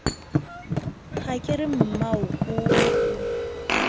ha ke re mmao o